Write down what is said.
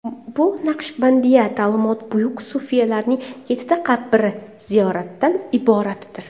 Bu Naqshbandiya ta’limoti buyuk sufiylarining yettita qabri ziyoratidan iboratdir.